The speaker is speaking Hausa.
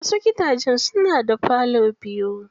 Wasu gidajen suna da falo biyu.